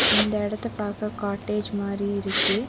இந்த எடத்த பார்க்க காட்டேஜ் மாரி இருக்கு.